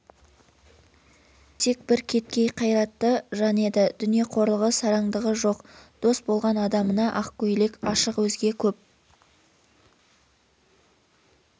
кесек бір кеткей қайратты жан еді дүниеқорлығы сарандығы жоқ дос болған адамына аққөйлек ашық өзге көп